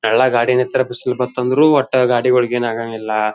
ಎಲ್ಲಾ ಗಾಡಿ ನಿತ್ತರ ಬಿಸಿಲ್ ಬತ್ತ್ ಅಂದ್ರೂ ಓಟ್ಟ ಗಾಡಿಗುಳ್ಗೇನಾಗಂಗಿಲ್ಲ